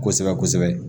Kosɛbɛ kosɛbɛ